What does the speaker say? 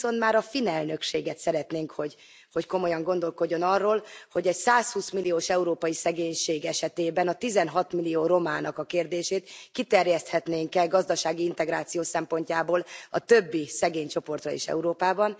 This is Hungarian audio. Ami viszont már a finn elnökséget szeretnénk, hogy komolyan gondolkodjon arról, hogy egy 120 milliós európai szegénység esetében a 16 millió romának a kérdését kiterjeszthetnénk e gazdasági integráció szempontjából a többi szegény csoportra is Európában.